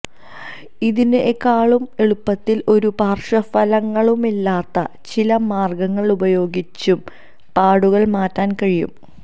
ഇതിനെക്കാള് എളുപ്പത്തില് ഒരു പാര്ശ്വഫലങ്ങളുമില്ലാത്ത ചില മാര്ഗ്ഗങ്ങള് ഉപയോഗിച്ചും പാടുകള് മാറ്റാന് കഴിയും